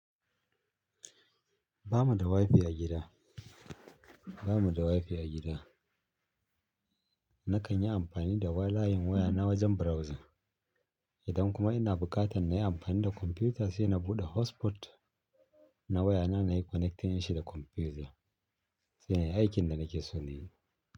Ba mu da wifi a gida, ba mu da wifi a gida. Na kan yi amfani da wayoyin waya na wajen browsing. Idan kuma ina buƙatar na yi amfani da kwamfuta sai na buɗe hotspot na waya na nayi connecting nashi da kwamfuta. Sai nayi aikin da nake so na yi.